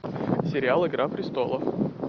сериал игра престолов